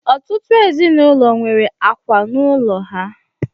Ọtụtụ ezinụlọ nwere àkwà n'ụlọ ha.